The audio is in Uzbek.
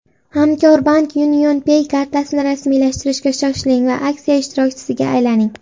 Hamkorbank UnionPay kartasini rasmiylashtirishga shoshiling va aksiya ishtirokchisiga aylaning!